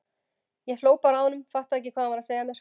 Ég hló bara að honum, fattaði ekki hvað hann var að segja mér.